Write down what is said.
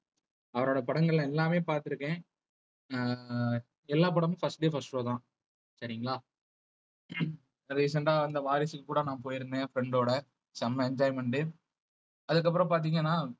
அவரோட படங்கள் எல்லாமே பார்த்திருக்கேன் அஹ் எல்லா படமும் first day first show தான் சரிங்களா recent ஆ வந்த வாரிசுக்கு கூட நான் போயிருந்தேன் friend டோட செம enjoyment உ அதுக்கப்புறம் பார்த்தீங்கன்னா